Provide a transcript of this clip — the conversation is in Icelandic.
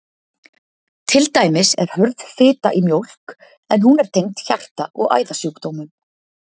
Til dæmis er hörð fita í mjólk, en hún er tengd hjarta- og æðasjúkdómum.